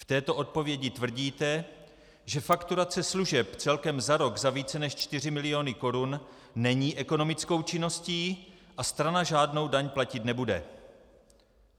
V této odpovědi tvrdíte, že fakturace služeb celkem za rok za více než čtyři miliony korun není ekonomickou činností a strana žádnou daň platit nebude.